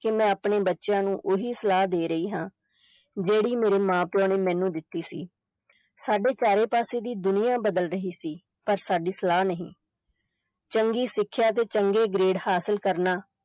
ਕਿ ਮੈਂ ਆਪਣੇ ਬੱਚਿਆਂ ਨੂੰ ਉਹੀ ਸਲਾਹ ਦੇ ਰਹੀ ਹਾਂ ਜਿਹੜੀ ਮੇਰੇ ਮਾਂ-ਪਿਓ ਨੇ ਮੈਨੂੰ ਦਿੱਤੀ ਸੀ, ਸਾਡੇ ਚਾਰੇ ਪਾਸੇ ਦੀ ਦੁਨੀਆ ਬਦਲ ਰਹੀ ਸੀ, ਪਰ ਸਾਡੀ ਸਲਾਹ ਨਹੀਂ ਚੰਗੀ ਸਿੱਖਿਆ ਤੇ ਚੰਗੇ grade ਹਾਸਲ ਕਰਨਾ